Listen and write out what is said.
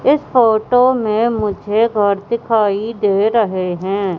इस फोटो में मुझे घर दिखाई दे रहे हैं।